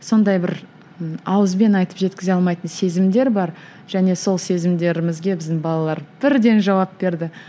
сондай бір ы ауызбен айтып жеткізе алмайтын сезімдер бар және сол сезімдерімізге біздің балалар бірден жауап берді